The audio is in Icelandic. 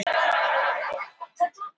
Ég er í skýjunum með að hafa hann.